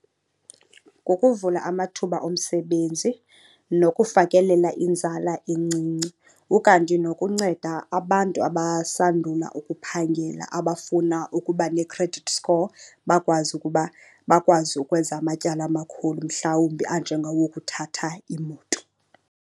Ngokuvula amathuba omsebenzi nokufakelela inzala encinci, ukanti nokunceda abantu abasandula ukuphangela abafuna ukuba ne-credit score bakwazi ukuba bakwazi ukwenza amatyala amakhulu mhlawumbi anjengowokuthatha imoto.